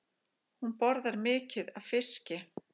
Hún borðar mikið af fiski.